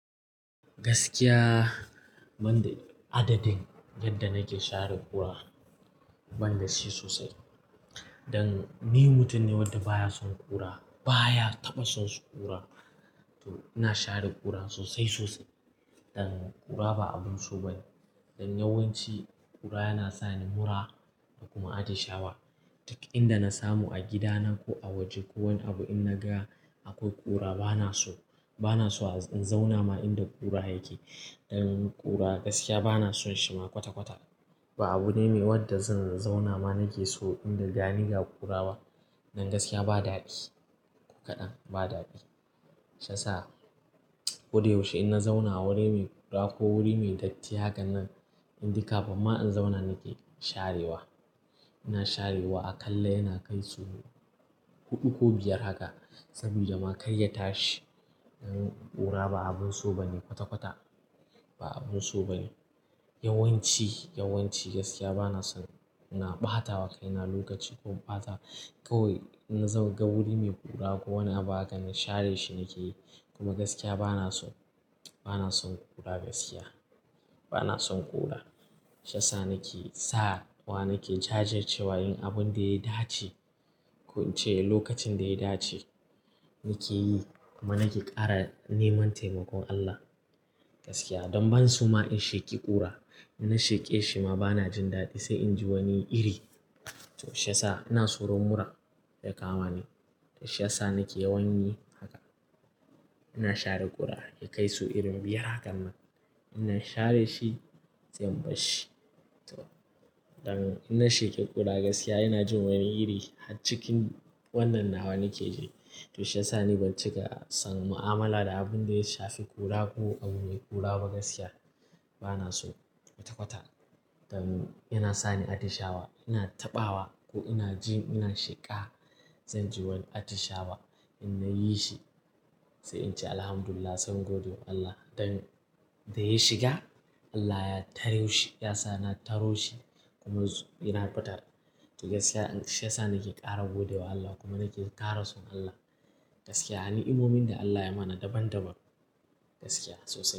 Gaskiya, ban de adadin yadda nake share ƙura ban da shi sosai. Dan ni mutum ne wanda baya son ƙura, baya taɓa son su ƙura. To ina share ƙura sosai sosai. Dan ƙura ba abun so ba ne. Dan yawanci ƙura yana sa ni mura da kuma atishawa. Duk inda na samu a gidana ko a waje ko wani abu in na ga akwai ƙura bana so. Bana so in zauna ma inda ƙura yake. Dan ƙura gaskiya bana son shi ma kwata-kwata. Ba abu ne wadda zan zauna ma nake so inda da ni ga ƙura ba. Dan gaskiya ba dadi. Kaɗan ba dadi. Shi yasa koda yaushe in na zauna wuri mai ƙura ko wuri mai datti haka nan, in de kafin ma in zauna nake sharewa. Ina sharewa a kalla yana kai so huɗu ko biyar haka. Saboda ma kar ya tashi. Dan ƙura ba abun so ba ne kwata-kwata. Ba abun so ba ne. Yawanci, yawanci gaskiya bana son ina ɓata wa kaina lokaci ko in ɓata kawai in na ga wuri mai ƙura ko wani abu haka na share shi nake yi. Kuma gaskiya bana so, bana son ƙura gaskiya. Bana son ƙura. Shi yasa nake sawa nake jajircewa yin abunda ya dace. Kon ince lokacin da ya dace nake yi kuma nake kara neman taimakon Allah. Gaskiya don ban so ma in sheƙi ƙura. In na sheke shi ma bana jin dadi sai inji wani iri. To shi yasa ina soron mura ya kama ni. Shi yasa nake yawan yi haka. Ina share kura ya kai sau irin biyar hakan nan. In share shi sai in barshi to don in na sheki kura gaskiya ina jin wani iri don har cikin wannan nawa nake ji. To shi yasa ni ba cika son mu'amala da abinda ya shafi kura ko abu me kura ba gaskiya bana so kwata kwata don yana sani atishawa ina tabawa ko ina jin ina sheka. Zanji wani atishawa in nayi shi. Sai ince alhamdulillah, sai in gode wa Allah don da ya shiga Allah ya taro shi kuma na fitar. To gaskiya shi yasa nake gode wa Allah kuma nake kara son Allah. Gaskiya ni'imomin da Allah yayi mana daban daban gaskiya sosai.